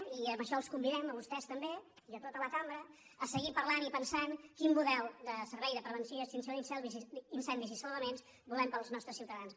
i en això els convidem a vostès també i a tota la cambra a seguir parlant i pensant quin model de servei de prevenció i extinció d’incendis i salvament volem per als nostres ciutadans